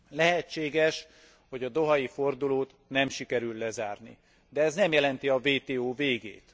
Lehetséges, hogy a dohai fordulót nem sikerül lezárni, de ez nem jelenti a WTO végét.